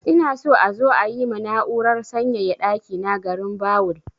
Ina so a zo yi ma na'urar sanyaya ɗaki na garinbawul.